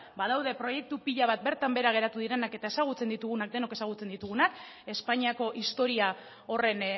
badaude proiektu pila bat bertan behera geratu direnak eta denok ezagutzen ditugunak espainiako historia horren